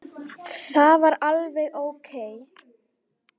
Það er alveg ókei.